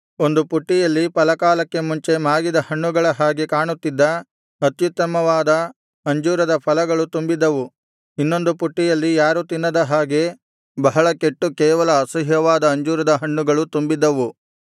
ಒಂದು ಪುಟ್ಟಿಯಲ್ಲಿ ಫಲ ಕಾಲಕ್ಕೆ ಮುಂಚೆ ಮಾಗಿದ ಹಣ್ಣುಗಳ ಹಾಗೆ ಕಾಣುತ್ತಿದ್ದ ಅತ್ಯುತ್ತಮವಾದ ಅಂಜೂರದ ಫಲಗಳು ತುಂಬಿದ್ದವು ಇನ್ನೊಂದು ಪುಟ್ಟಿಯಲ್ಲಿ ಯಾರೂ ತಿನ್ನದ ಹಾಗೆ ಬಹಳ ಕೆಟ್ಟು ಕೇವಲ ಅಸಹ್ಯವಾದ ಅಂಜೂರದ ಹಣ್ಣುಗಳು ತುಂಬಿದ್ದವು